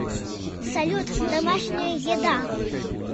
салют домашняя еда